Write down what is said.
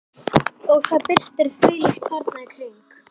Og það birtir þvílíkt þarna í kring.